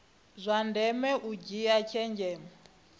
zwa ndeme u dzhia tshenzhemo